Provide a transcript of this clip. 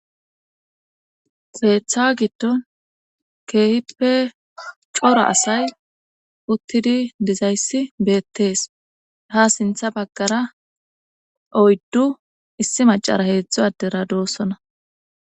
xeetha giddon keehippe coro asay uttidi dizayssi beettees ha sintha baggara oyddu issi macara heedzdzo adera doossona